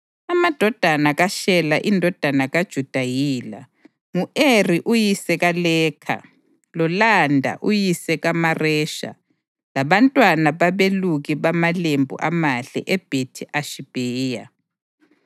Amadodana kaShela indodana kaJuda yila: ngu-Eri uyise kaLekha, loLada uyise kaMaresha labantwana babeluki bamalembu amahle eBhethi-Ashibheya.